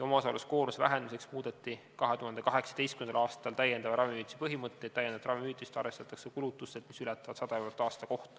Omaosaluskoormuse vähendamiseks muudeti 2018. aastal täiendava ravimihüvitise põhimõtteid – seda arvestatakse kulutustelt, mis ületavad 100 eurot aasta kohta.